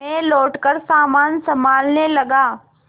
मैं लौटकर सामान सँभालने लगा